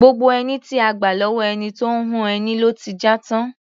Gbogbo ẹní tí a gbà lọ́wọ́ ẹni tó ń hun ẹni ló ti já tán.